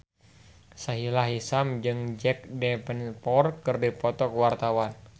Sahila Hisyam jeung Jack Davenport keur dipoto ku wartawan